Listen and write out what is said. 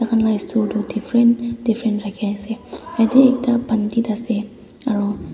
khana eshwar tu different rakhi ase yate ekta pandit ase aro--